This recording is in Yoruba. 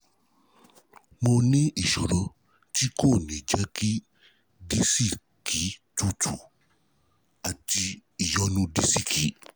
Mo ní ìṣòro tí kò ní jẹ́ kí disiki tútù àti ìyọnu disiki